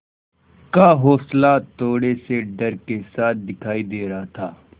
का हौंसला थोड़े से डर के साथ दिखाई दे रहा था